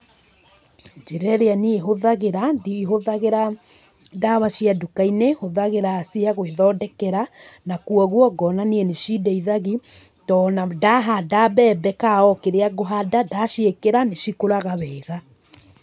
Njĩra ĩrĩa niĩ hũthagĩra, ndihũthagĩra ndawa cia nduka-inĩ, hũthagĩra cia gwĩthondekera, na koguo, ngona ni nĩcindeithagi, to ona ndahanda mbembe ka okĩrĩa ngũhanda, ndaciĩkĩra nĩcikũraga wega.